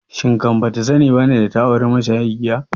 Shin kan bata sani bane data auri mashayin giya?